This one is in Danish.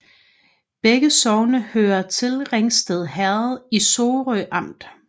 Begge sogne hørte til Ringsted Herred i Sorø Amt